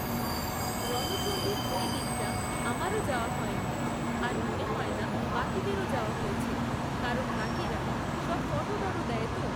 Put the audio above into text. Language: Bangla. রণচণ্ডীর ওই দিকটা আমারও যাওয়া হয়নি, আর মনে হয় না বাকিদেরও যাওয়া হয়েছে, কারণ বাকিরা সব ফটো টটো দেয় তো।